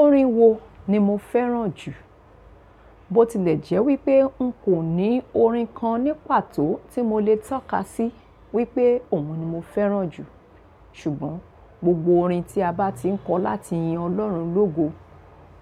Orin wo ni mo fẹ́ràn jù? Bó tilẹ̀ jẹ́ wípé n kò ní orin kan ní pàtó tí mo le tọ́ka sí wípé òhun ni mo fẹ́ràn jù. Ṣùgbọ́n gbogbo orin tí a bá ti n kọ láti yin ọlọ́run lógo,